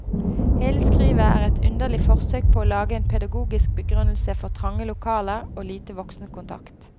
Hele skrivet er et underlig forsøk på å lage en pedagogisk begrunnelse for trange lokaler og lite voksenkontakt.